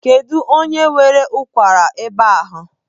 Kedụ onye nwere ụkwara ebe ahụ?